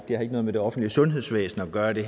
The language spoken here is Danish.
har ikke noget med det offentlige sundhedsvæsen at gøre det